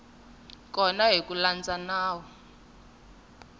kona hi ku landza nawu